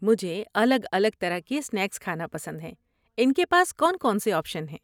مجھے الگ الگ طرح کے اسنیکس کھانا پسند ہے، ان کے پاس کون کون سے آپشن ہیں؟